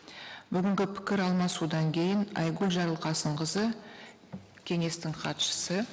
бүгінгі пікір алмасудан кейін айгүл жарылқасынқызы кеңестің хатшысы